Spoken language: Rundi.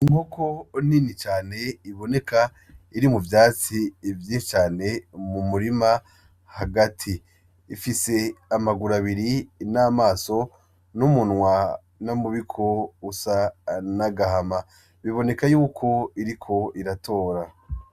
Inkoko nini cane iboneka iri mu vyatsi vyinshi cane mu murima hagati, ifise amaguru abiri n'amaso n'umunwa n'umubiko usa n'agahama, biboneka yuko iriko iratora.